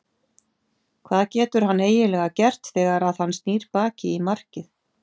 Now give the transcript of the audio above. Hvað getur hann eiginlega gert þegar að hann snýr baki í markið?